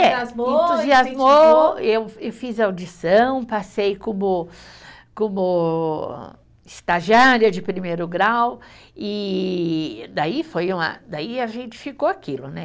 Eh, entusiasmou, eu e fiz audição, passei como, como estagiária de primeiro grau e daí foi uma, daí a gente ficou aquilo, né?